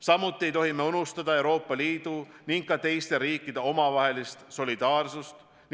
Samuti ei tohi unustada Euroopa Liidu ning ka teiste riikide omavahelist solidaarsust.